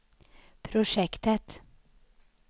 projektet